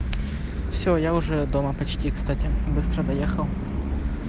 все я уже дома почти кстати быстро доехал